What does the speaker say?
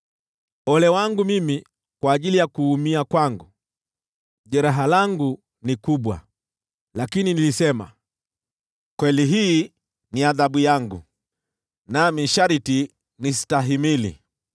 Ole wangu mimi kwa ajili ya kuumia kwangu! Jeraha langu ni kubwa! Lakini nilisema, “Kweli hii ni adhabu yangu, nami sharti niistahimili.”